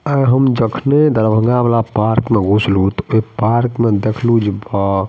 आय हम जखने हम दरभंगा वाला पार्क में घुसलो ते ओय पार्क में देखलु जे बा --